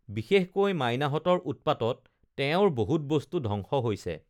বিশেষকৈ মাইনাহতঁৰ উৎপাতত তেওঁৰ বহুত বস্তু ধ্বংশ হৈছে